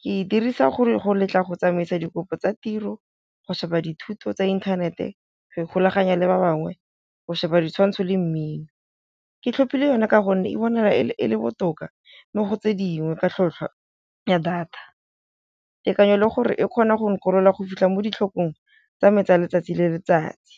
ke e dirisa go letla go tsamaisa dikopo tsa tiro, go sheba dithuto tsa inthanete, go ikgulaganya le ba bangwe, go sheba ditshwantsho le mmino. Ke tlhopile yone ka gonne e bonahala e le botoka mo go tse dingwe ka tlhwatlhwa ya data, tekanyo le gore e kgona go nkgorola go fitlha mo ditlhokong tsa me tsa letsatsi le letsatsi.